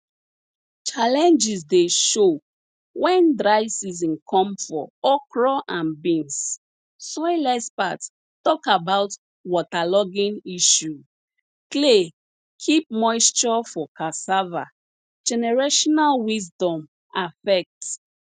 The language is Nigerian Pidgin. challenges de show wen dry season come for okra and beans soil experts talk about waterlogging ishu clay keep moisture for cassava generational wisdom affect